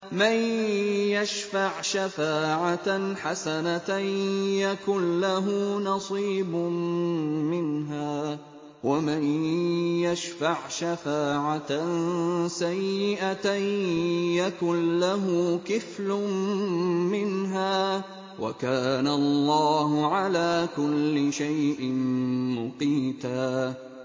مَّن يَشْفَعْ شَفَاعَةً حَسَنَةً يَكُن لَّهُ نَصِيبٌ مِّنْهَا ۖ وَمَن يَشْفَعْ شَفَاعَةً سَيِّئَةً يَكُن لَّهُ كِفْلٌ مِّنْهَا ۗ وَكَانَ اللَّهُ عَلَىٰ كُلِّ شَيْءٍ مُّقِيتًا